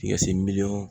Tikɛ si miliyɔn